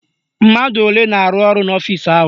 Mmadụ olee na-arụ ọrụ n'ọfisi ahụ?